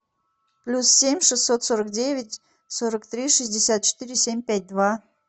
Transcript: плюс семь шестьсот сорок девять сорок три шестьдесят четыре семь пять два